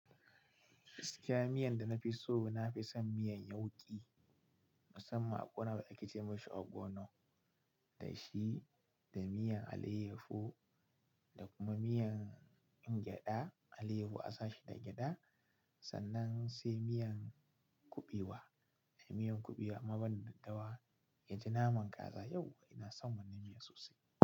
Gaskiya miyanda nafiso nafison miyan yauki mussaman akwai wani abu da ake cemashi ogono da shi, da miyan alayyafu da kuma miyan gyada alayyafu a sashi da gyada sannan sai miyan kuɓewa. Miyan kuɓewa, amma banda daddawa, yaji naman kaza. Yau inason wannan miya sosai.